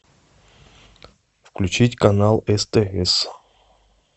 включить канал стс